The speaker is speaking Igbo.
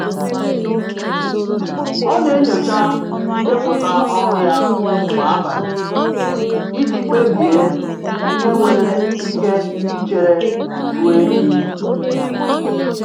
Ọ na-enyocha ndepụta ọrụ ya kwa abalị iji kpebie ihe nwere ike ichere ruo echi.